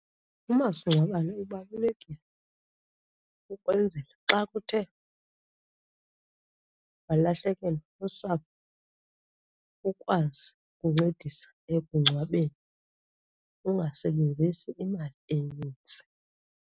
Umasingcwabane ubalulekile ukwenzela xa kuthe walahlekelwa lusapho ukwazi ukuncedisa ekugcwabeni ungasebenzisi imali enintsi.